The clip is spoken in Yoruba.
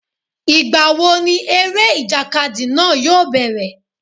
Ìgbà wo ni eré ìjàkadì náà yóò bẹ̀rẹ̀?